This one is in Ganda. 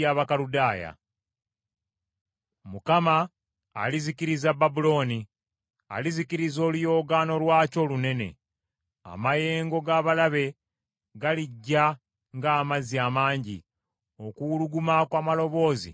Mukama alizikiriza Babulooni, alizikiza oluyoogaano lwakyo olunene. Amayengo g’abalabe galijja ng’amazzi amangi; okuwuluguma kw’amaloboozi kuliwulirwa.